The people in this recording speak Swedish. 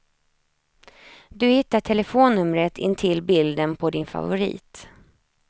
Du hittar telefonnumret intill bilden på din favorit.